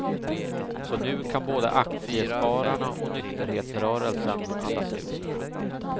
Så nu kan både aktiespararna och nykterhetsrörelsen andas ut.